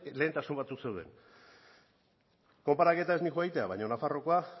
lehentasun batzuk zeuden konparaketa ez noa egitera baina nafarroakoa